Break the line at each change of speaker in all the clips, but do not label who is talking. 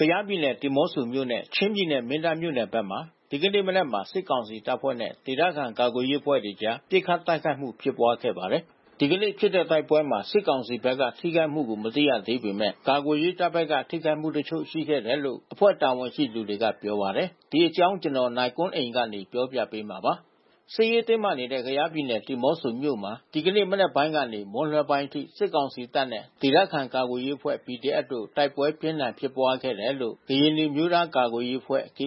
ကယားပြည်နယ် ဒီးမော့ဆိုမြို့နဲ့ ချင်းပြည်နယ် မင်းတပ်မြို့နယ်ဘက်မှာ ဒီကနေ့မနက်က စစ်ကောင်စီတပ်ဖွဲ့နဲ့ ဒေသခံ ကာကွယ်ရေးအဖွဲ့တွေအကြား ပစ်ခတ်တိုက်ခိုက်မှု ဖြစ်ပွားခဲ့ပါတယ်။ ဒီကနေ့ဖြစ်တဲ့ တိုက်ပွဲမှာ စစ်ကောင်စီဘက်က ထိခိုက်မှုကို မသိရသေးပေမယ့် ကာကွယ်ရေးတပ်ဘက်က ထိခိုက်မှုတချို့ ရှိတယ်လို့ အဖွဲ့တာဝန်ရှိသူတွေက ပြောပါတယ်။ အပြည့်အစုံကို နိုင်ကွန်းအိန် တင်ပြပေးထားပါတယ်။ စစ်ရေးတင်းမာနေတဲ့ ကယားပြည်နယ် ဒီးမော့ဆိုမြို့မှာ ဒီကနေ့မနက်ပိုင်းကနေ မွန်းလွဲပိုင်းအထိ စစ်ကောင်စီတပ်နဲ့ ဒေသခံ ကာကွယ်ရေးအဖွဲ့ တိုက်ပွဲပြင်းထန် ဖြစ်ပွားခဲ့တယ်လို့ ကရင်နီအမျိုးသားကာကွယ်ရေးအဖွဲ့ ပြ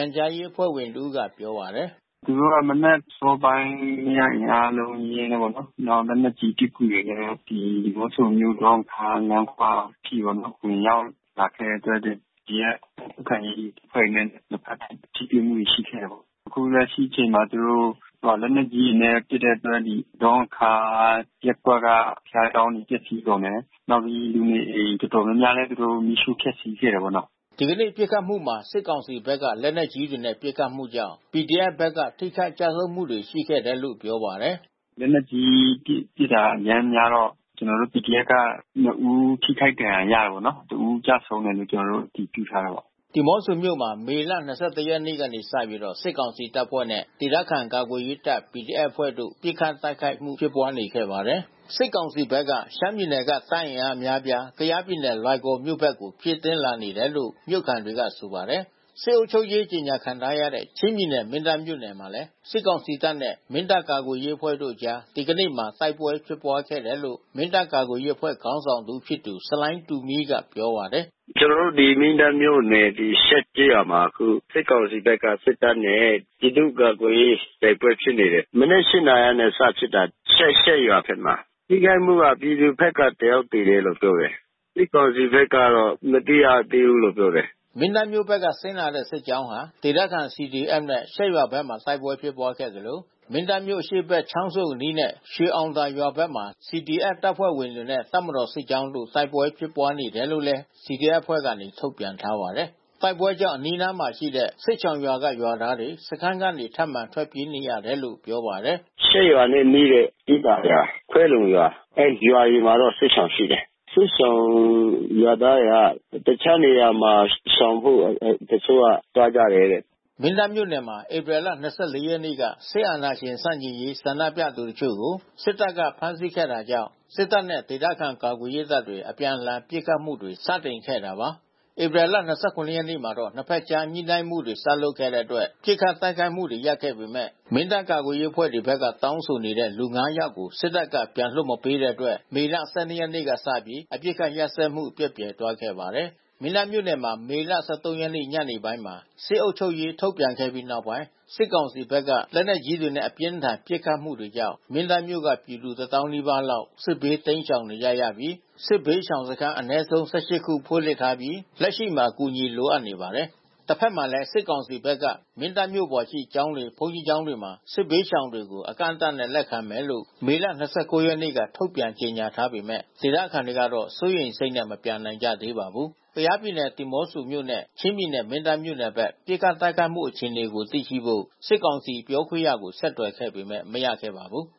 န်ကြားရေးအဖွဲ့ဝင်တဦးက ပြောပါတယ်။
“သူတို့ မနက်အစောပိုင်း အင်အားအလုံးအရင်းနဲ့ပေါ့နော်။ နောက် လက်နက်ကြီးပစ်ကူတွေနဲ့ ဒီးမော့ဆိုမြို့ ဒေါ့ငံခါးလမ်းခွအထိပေါ့နော် ဝင်ရောက်လာခဲ့တဲ့အတွက် ဒီက ခုခံရေးအဖွဲ့တွေနဲ့ နှစ်ဖက်ထိတွေ့မှုတွေ ရှိခဲ့တာပေါ့။ အခုလက်ရှိအချိန်မှာ သူတို့ လက်နက်ကြီးတွေ ပစ်တဲ့အတွက် ဒေါ့ငံခါးရပ်ကွက်က ဘုရားကျောင်းတွေ ပျက်စီးကုန်တယ်။ နောက်ပြီး လူနေအိမ် တော်တော်များများလည်း သူတို့ မီးရှို့ဖျက်ဆီးခဲ့တာပေါ့နော်။
” ဒီကနေ့ပစ်ခတ်မှုမှာ စစ်ကောင်စီဘက်က လက်နက်ကြီးတွေနဲ့ ပစ်ခတ်မှုကြောင့် PDF ဘက်က ထိခိုက်ကျဆုံးမှု ရှိခဲ့တယ်လို့ ပြောပါတယ်။
“လက်နက်ကြီးပစ်တာ အရမ်းများတော့ ကျနော်တို့ PDF က ၂ ဦး ထိခိုက်ဒဏ်ရာရတယ်ပေါ့နော်။ တဦးကျဆုံးတယ်လို့ ကျနော်တို့
အတည်ပြုထားတယ်ပေါ့။” ဒီးမော့ဆိုမြို့မှာ မေလ ၂၁ ရက်နေ့ကစပြီး စစ်ကောင်စီတပ်ဖွဲ့နဲ့ ဒေသခံကာကွယ်ရေးတပ် PDF အဖွဲ့တို့ ပစ်ခတ်တိုက်ခိုက်မှု ဖြစ်ပွားနေခဲ့ပါတယ်။ စစ်ကောင်စီဘက်က ရှမ်းပြည်နယ်က တပ်အင်အားအများအပြား ကယားပြည်နယ် လွိုင်ကော်မြို့ဘက် ဖြည့်တင်းလာနေတယ်လို့ မြို့ခံတွေက ဆိုပါတယ်။ စစ်အုပ်ချုပ်ရေး ကြေညာခံထားရတဲ့ ချင်းပြည်နယ် မင်းတပ်မြို့နယ်မှာ စစ်ကောင်စီတပ်နဲ့ မင်းတပ်ကာကွယ်ရေးအဖွဲ့အကြား ဒီကနေ့မှာ တိုက်ပွဲဖြစ်ပွားခဲ့တယ်လို့ မင်းတပ်ကာကွယ်ရေးအဖွဲ့ ခေါင်းဆောင်တဦးဖြစ်သူ ဆလိုင်းတူမီးက ပြောပါတယ်
။ “ကျနော်တို့ ဒီ မင်းတပ်မြို့နယ် ရှက်ကျေးရွာမှာ အခု စစ်ကောင်စီဘက်က စစ်တပ်နဲ့ ပြည်သူ့ကာကွယ်ရေး တိုက်ပွဲဖြစ်နေတယ်။ မနက် ၈ နာရီကနေ စဖြစ်တာ။ ရှက်ရွာဘက်မှာ။ ထိခိုက်မှုက ပြည်သူဘက်က တယောက်သေတယ်လို့ ပြောတယ်။ စစ်ကောင်စီဘက်ကတော့ မသိရသေးဘူးလို့ ပြောတယ်။”
မင်းတပ်မြို့ဘက်က ဆင်းလာတဲ့ စစ်ကြောင်းဟာ ဒေသခံ CDF နဲ့ ရှက်ရွာဘက်မှာ တိုက်ပွဲဖြစ်ပွားခဲ့သလို မင်းတပ်မြို့ အရှေ့ဘက်ရှိ ချောင်းဆုံအနီးနဲ့ ရွှေအောင်သာရွာဘက်မှာ CDF တပ်ဖွဲ့ဝင်တွေနဲ့ တပ်မတော်စစ်ကြောင်းတို့ တိုက်ပွဲဖြစ်ပွားနေတယ်လို့လည်း CDF အဖွဲ့ဘက်က ထုတ်ပြန်ထားပါတယ်။ တိုက်ပွဲကြောင့် အနီးနားမှာရှိတဲ့ စစ်ရှောင်ရွာက ရွာသားတွေ စခန်းကနေ ထပ်မံထွက်ပြေးနေရတယ်လို့ ပြောပါတယ်။
“ရှက်ရွာနဲ့နီးတဲ့ ကီးသာရွာ၊ ခွဲလုံရွာ အဲဒီရွာတွေမှာတော့ စစ်ရှောင်ရှိတယ်။ စစ်ရှောင်ရွာသားတွေက တခြားနေရာမှာ ရှောင်ဖို့ တချို့တွေက သွားကြတယ်တဲ့။” မ
င်းတပ်မြို့နယ်မှာ ဧပြီလ ၂၄ ရက်နေ့က စစ်အာဏာရှင်ဆန့်ကျင်ရေး ဆန္ဒပြသူတချို့ကို စစ်တပ်က ဖမ်းဆီးခဲ့တာကြောင့် စစ်တပ်နဲ့ ဒေသခံ ကာကွယ်ရေးတပ်တွေ အပြန်အလှန် ပစ်ခတ်မှုတွေ စတင်ခဲ့တာပါ။ ဧပြီ ၂၇ ရက်မှာတော့ နှစ်ဖက်ကြား ညှိုနှိုင်းမှုတွေ စလုပ်ခဲ့တဲ့အတွက် ပစ်ခတ်တိုက်ခိုက်မှုတွေ ရပ်ခဲ့ပေမယ့် မင်းတပ် ကာကွယ်ရေးအဖွဲ့တွေဘက်က တောင်းဆိုနေတဲ့ လူ ၅ ယောက်ကို စစ်တပ်က ပြန်လွှတ်မပေးတဲ့အတွက် မေလ ၁၂ ရက်နေ့ကစပြီး အပစ်အခတ်ရပ်စဲမှု ပျက်ပြယ်သွားခဲ့ပါတယ်။ မင်းတပ်မြို့နယ်မှာ မေလ ၁၃ ရက်နေ့ ညပိုင်းမှာ စစ်အုပ်ချုပ်ရေး ထုတ်ပြန်ခဲ့ပြီးနောက်ပိုင်း စစ်ကောင်စီဘက်က လက်နက်ကြီးတွေနဲ့ အပြင်းအထန် ပစ်ခတ်မှုတွေကြောင့် မင်းတပ်မြို့က ပြည်သူ ၁၀,၀၀၀ နီးပါးလောက်ဟာ စစ်ဘေး တိမ်းရှောင်နေကြရပြီး စစ်ဘေးရှောင်စခန်း အနည်းဆုံး ၁၈ ခုဖွင့်လှစ်ထားပြီး လက်ရှိမှာ အကူအညီ လိုအပ်နေပါတယ်။ တဖက်မှာလည်း စစ်ကောင်စီဘက်က မင်းတပ်မြို့ပေါ်ရှိ ကျောင်းတွေ၊ ဘုန်းကြီးကျောင်းတွေမှာ စစ်ဘေးရှောင်တွေကို အကန့်အသတ်နဲ့ လက်ခံမယ်လို့ မေလ ၂၉ ရက်နေ့က ထုတ်ပြန်ကြေညာထားပေမယ့် ဒေသခံတွေကတော့ စိုးရိမ်စိတ်နဲ့ မပြန်နိုင်ကြသေးပါဘူး။ ကယားပြည်နယ် ဒီးမော့ဆိုမြို့နဲ့ ချင်းပြည်နယ် မင်းတပ်မြို့နယ်ဘက် ပစ်ခတ်တိုက်ခိုက်မှု အခြေအနေကို သိရှိဖို့ စစ်ကောင်စီပြောခွင့်ရကို ဆက်သွယ်ခဲ့ပေမယ့် မရခဲ့ပါဘူး။